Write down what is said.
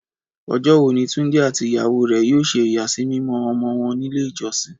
Ọjọ́ wo ni Túndé àti ìyàwó rẹ̀ yóò ṣe ìyàsímímọ́ ọmọ wọn nílé ìjọsìn?